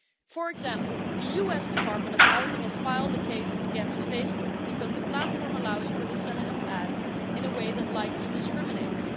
For example, the US Department of Housing has filed a case against Facebook because the platform allows for the selling of ads in a way that likely discriminates.